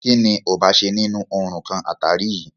Kínní ò bá ṣe nínú oòrùn kan àtàrí yìí?